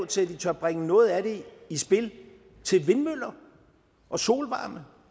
til at de tør bringe noget af det i spil til vindmøller og solvarme